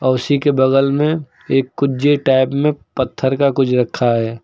कुर्सी के बगल में एक कुंजी टाइप में पत्थर का कुछ रखा है।